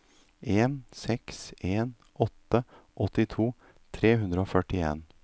en seks en åtte åttito tre hundre og førtien